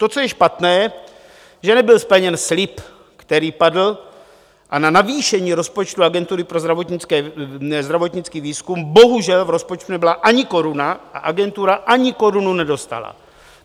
To, co je špatné, že nebyl splněn slib, který padl, a na navýšení rozpočtu Agentury pro zdravotnický výzkum bohužel v rozpočtu nebyla ani koruna a agentura ani korunu nedostala.